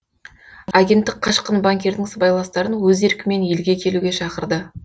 агенттік қашқын банкирдің сыбайластарын өз еркімен елге келуге шақырды